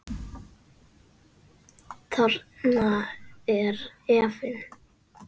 Þarna er efinn.